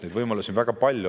Neid võimalusi on väga palju.